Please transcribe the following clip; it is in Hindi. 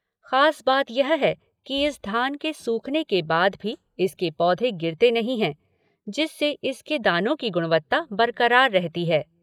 खास बात यह है कि इस धान के सूखने के बाद भी इसके पौधे गिरते नहीं है, जिससे इसके दानों की गुणवत्ता बरकरार रहती है।